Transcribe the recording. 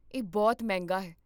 ਇਹ ਬਹੁਤ ਮਹਿੰਗਾ ਹੈ